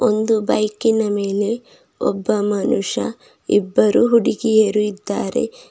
ಒಂದು ಬೈಕಿನ ಮೇಲೆ ಒಬ್ಬ ಮನುಷ್ಯ ಇಬ್ಬರು ಹುಡುಗಿಯರು ಇದ್ದಾರೆ.